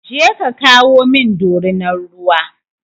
Je ka kawo min dorinar ruwa!